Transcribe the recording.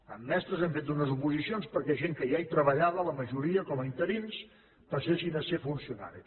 en mestres hem fet una oposicions perquè gent que ja hi treballava la majoria com a interins passessin a ser funcionaris